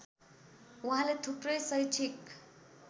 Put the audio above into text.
उहाँले थुप्रै शैक्षिक